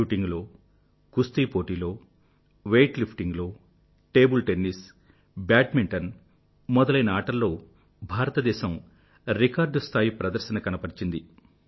shooting లో కుస్తీ పోటీలో వెయిట్ లిఫ్టింగ్ లో టేబుల్ టెన్నిస్ బ్యాడ్మెంటన్ మొదలైన ఆటల్లో భారతదేశం రికార్డ్ స్థాయిలో ఆటను ప్రదర్శించింది